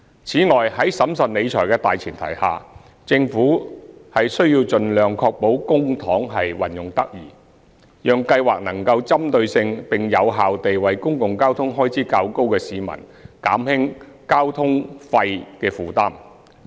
此外，在審慎理財的大前提下，政府需盡量確保公帑運用得宜，讓計劃能夠針對性並有效地為公共交通開支較高的市民減輕交通費負擔。